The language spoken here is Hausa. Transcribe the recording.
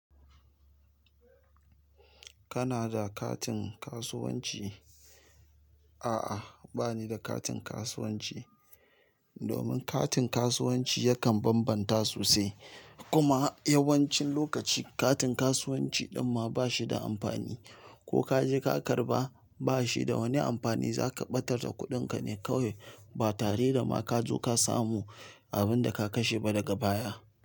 Kana da katin kasuwanci? A'a, bani da katin kasuwanci. Domin katin kasuwanci yakan bambanta sosai. Kuma yawancin lokaci katin kasuwanci din ma bashi da amfani. Ko ka je ka karɓa ba shi da wani amfani za ka ɓatar da kuɗin ka ne kawai ba tare da ma ka zo ka samu abin da ka kashe ba daga baya.